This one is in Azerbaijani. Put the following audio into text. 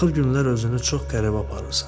Axır günlər özünü çox qəribə aparırsan.